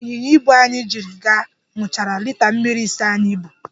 ịnyịnya ibu anyị jiri gaa, ṅụchara lita mmiri ise anyị bu.